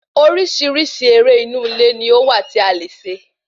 Orísirísi eré inú ilé ní ó wà tí a lè ṣe